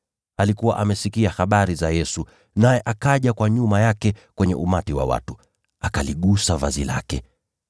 Alikuwa amesikia habari za Yesu, naye akaja kwa nyuma yake kwenye umati wa watu, akaligusa vazi lake,